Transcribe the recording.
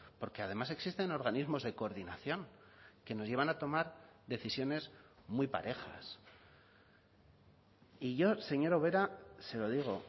porque además existen organismos de coordinación que nos llevan a tomar decisiones muy parejas y yo señora ubera se lo digo